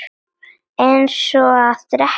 Eins og að drekka vatn.